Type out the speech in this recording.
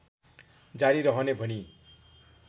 जारी रहने भनी